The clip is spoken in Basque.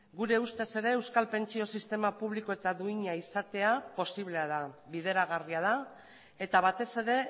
gure ustez ere euskal pentsio sistema publiko eta duina izatea posiblea da bideragarria da eta batez ere